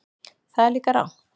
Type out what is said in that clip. Það er líka rangt.